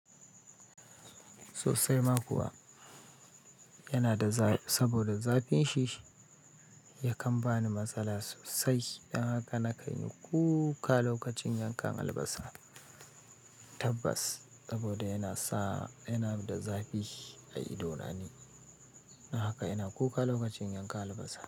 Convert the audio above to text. Sosai ma kuwa, yana da zafi saboda zafinin shi yakan bani matsala sosai. Don haka na kan yi kuka lokacin yankan albasa tabbas, saboda yana sa-- yana da zafi a idonani. Don haka ina kuka lokacin yankan albasa.